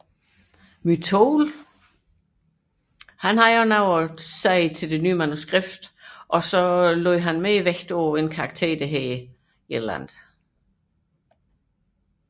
Motyl bidrog også til det nye manuskript og fik lagt mere vægt på karakteren Veresjagin